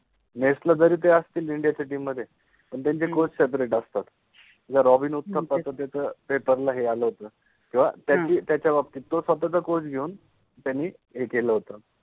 Match {match} ला जरि असतिल इन्डिया {India} च्या टिम {team} मधे पण त्यांचे कोच सेपरेट {separate} असतात. जर रॉबिन उथ्थप्पा त त्याच पेपर ला हे आल होत किव्वा त्याचि त्याच्या बाबतित, तो स्वताचा कोच घेउन त्यानि हे केल होत